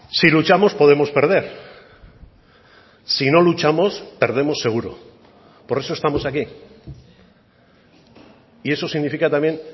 sí luchamos podemos perder si no luchamos perdemos seguro por eso estamos aquí y eso significa también